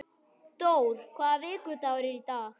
Dór, hvaða vikudagur er í dag?